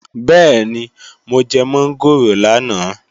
Bẹ́ẹ̀ni, mo jẹ mọ́ngòrò lánàá